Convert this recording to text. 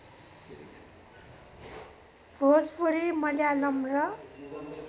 भोजपुरी मल्यालम र